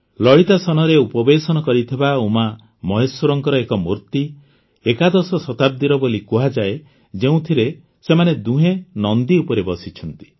ଲଳିତାସନରେ ଉପବେଶନ କରିଥିବା ଉମାମହେଶ୍ୱରଙ୍କ ଏକ ମୂର୍ତ୍ତି ଏକାଦଶ ଶତାବ୍ଦୀର ବୋଲି କୁହାଯାଏ ଯେଉଁଥିରେ ସେମାନେ ଦୁହେଁ ନନ୍ଦୀ ଉପରେ ବସିଛନ୍ତି